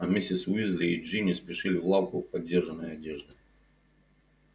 а миссис уизли и джинни спешили в лавку подержанной одежды